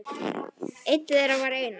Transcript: Einn þeirra var Einar